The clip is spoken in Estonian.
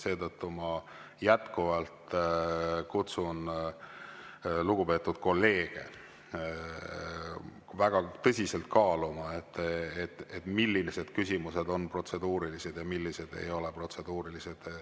Ma jätkuvalt kutsun lugupeetud kolleege väga tõsiselt kaaluma, millised küsimused on protseduurilised ja millised ei ole protseduurilised.